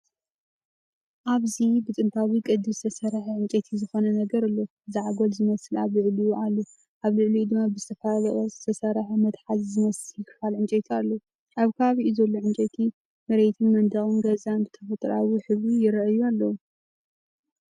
ኣብዚብጥንታዊ ቅዲ ዝተሰርሐ ዕንጨይቲ ዝኾነ ነገር ኣሎ፣ ዛዕጎል ዝመስል ኣብ ልዕሊዑ ኣሎ። ኣብ ልዕሊኡ ድማ ብዝተፈላለየ ቅርጺ ዝተሰርሐ መትሓዚ ዝመስል ክፋል ዕንጨይቲ ኣሎ። ኣብ ከባቢኡ ዘሎ ዕንጨይቲ መሬትን መንደቕ ገዛን ብተፈጥሮኣዊ ሕብሪ ይራኣዩ ኣለው።